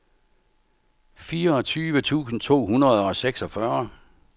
fireogtyve tusind to hundrede og seksogfyrre